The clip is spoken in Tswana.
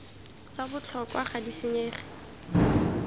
tsa botlhokwa ga di senyege